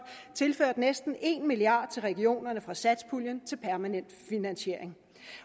tilført næsten en milliard kroner til regionerne fra satspuljen til permanent finansiering